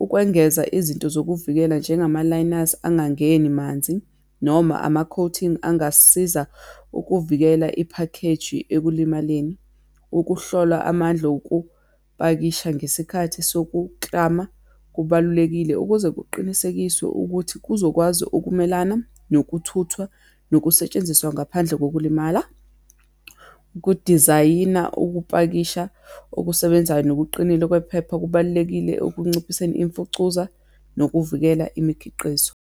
Ukwengeza izinto zokuvikela njengama-liners angangeni manzi, noma ama-coating angasiza ukuvikela iphakheji ekulimaleni. Ukuhlola amandla okupakisha ngesikhathi sokuklama kubalulekile, ukuze kuqinisekiswe ukuthi kuzokwazi ukumelana nokuthuthwa nokusetshenziswa ngaphandle kokulimala. Ukudizayina ukupakisha okusebenzayo nokuqinile kwephepha kubalulekile ekunciphiseni imfucuza, nokuvikela imikhiqizo.